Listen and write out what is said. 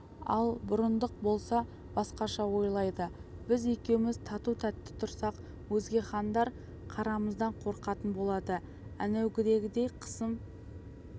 ал бұрындық болса басқаша ойлайды біз екеуміз тату-тәтті тұрсақ өзге хандар қарамыздан қорқатын болады әнеугідей қасым